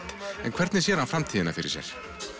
en hvernig sér hann framtíðina fyrir sér